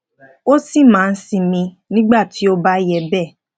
ó sì máa ń sinmi ní ìgbà tí ó ó bá yẹ béè